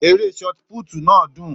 Ère sọti púùtì náà dùn